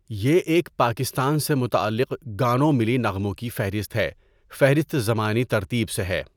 یہ ایک پاکستان سے متعلق گانوں ملی نغموں کی فہرست ہے فہرست زمانی ترتیب سے ہے.